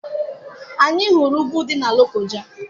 Anyị hụrụ ugwu dị na Lokoja.